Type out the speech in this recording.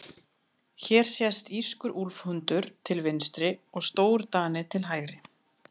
Hér sést írskur úlfhundur til vinstri og stórdani til hægri.